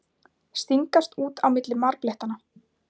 Stingast út á milli marblettanna.